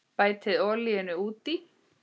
Bætið olíunni út í.